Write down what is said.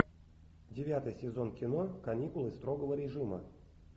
девятый сезон кино каникулы строгого режима